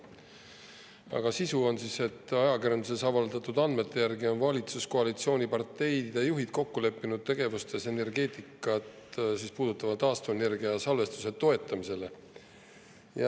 Arupärimise sisu on selles, et ajakirjanduses avaldatud andmete järgi on valitsuskoalitsiooniparteide juhid kokku leppinud tegevustes energeetikas, puudutavalt taastuvenergia ning salvestuse toetamist.